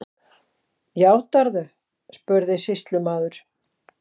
Játarðu, spurði sýslumaður.